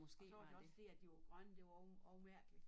Og så var også fordi at de var grønne det var også også mærkeligt